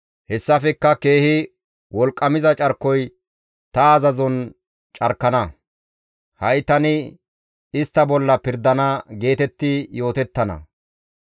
Hessafekka keehi wolqqamiza carkoy ta azazon carkana; ha7i tani istta bolla pirdana» geetetti yootettana.